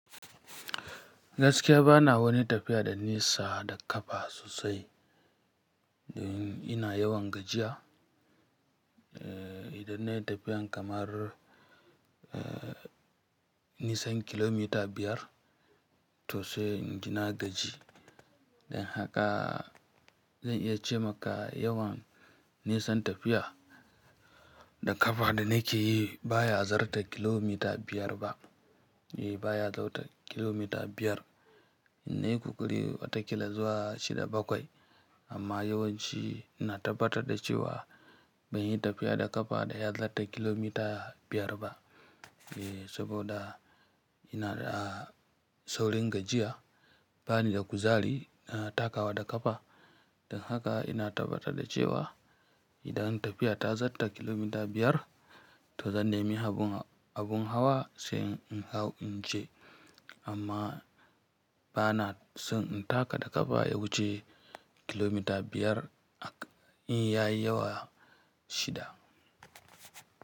Gaskiya bana wani tafiya da nisa, da kafa sosai, don ina yawan gajiya, idan nayi tafiyan kamar nisan kilomita biyar, to sai inji na gaji. Dan haka, zan iya ce maka yawan nisan tafiya. Da kafa da nake yi, baya zarta kilomita biyar ba. Eh baya zarta kilomita biyar, in nayi kokari watakila zuwa shida, bakwai, amma yawanci ina tabbatar da cewa, ban yi tafiya da kafa da ya zarta kilomita biyar ba e saboda, ina da saurin gajiya, bani da kuzari na takawa da kafa. Dan haka ina tabbatar da cewa, idan tafiya ta zatta kilomita biyar, to zan nemi habun ha, abun hawa sai in hau in je. Amma bana son in taka da ƙafa ya wuce kilomita biyar, in ya yi yawa shida.